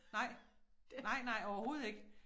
Nej nej nej overhovedet ikke